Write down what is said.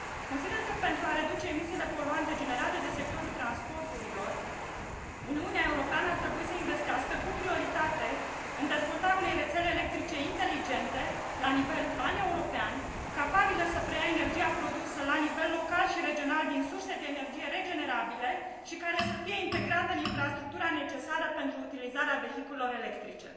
Consider că, pentru a reduce emisiile poluante generate de sectorul transporturilor, Uniunea Europeană ar trebui să investească cu prioritate în dezvoltarea unei rețele electrice inteligente la nivel paneuropean, capabilă să preia energia produsă la nivel local și regional din surse de energie regenerabile și care să fie integrată în infrastructura necesară pentru utilizarea vehiculelor electrice.